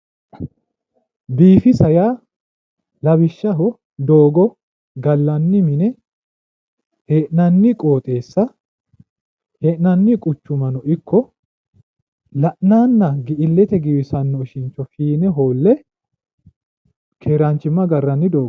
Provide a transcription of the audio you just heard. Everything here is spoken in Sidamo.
Biifisa yaa lawishaho doogo gallanni mine hee'nanni qooxeessa hee'nanni quchummano ikko la'nanna illete giwisanno ishincho fiine hoolle keeraanchimma agarranni dooggaati.